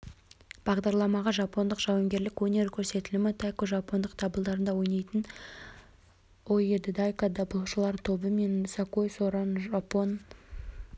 бағдарламаға жапондық жауынгерлік өнер көрсетілімі тайко жапондық дабылдарында ойнайтын ооэдодайко дабылшылар тобы мен сакой соран жапон